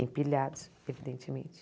Empilhados, evidentemente.